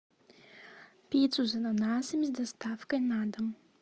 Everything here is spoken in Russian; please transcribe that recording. пиццу с ананасами с доставкой на дом